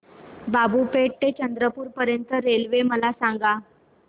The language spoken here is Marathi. बाबूपेठ ते चंद्रपूर पर्यंत रेल्वे मला सांगा